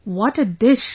What a dish